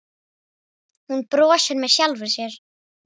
Hún brosir með sjálfri sér.